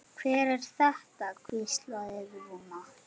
Hver er þetta? hvíslaði Rúna.